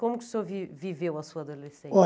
Como que o senhor vi viveu a sua adolescência?